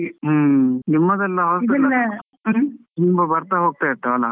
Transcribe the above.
ಹೂಂ, ನಿಮ್ಮದೆಲ್ಲಾ ತುಂಬಾ ಬರ್ತಾ ಹೋಗ್ತಾ ಇರ್ತವಲ?